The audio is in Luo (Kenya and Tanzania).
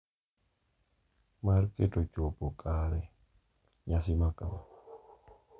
Mar keto chopo kare nyasi makama.